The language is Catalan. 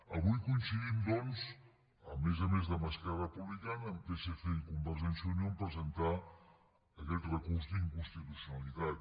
avui coincidim doncs a més a més d’esquerra republicana amb psc i convergència i unió en presentar aquest recurs d’inconstitucionalitat